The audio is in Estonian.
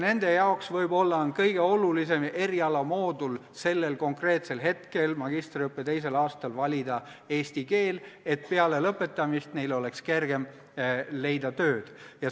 Nende jaoks võibki olla kõige olulisem erialamoodul sellel konkreetsel hetkel, magistriõppe teisel aastal, eesti keel, et peale lõpetamist oleks neil kergem tööd leida.